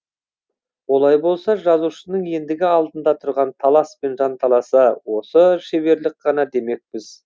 олай болса жазушының ендігі алдында тұрған талас пен жанталасы осы шеберлік ғана демекпіз